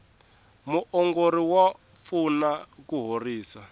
muongori wa pfuna ku horisa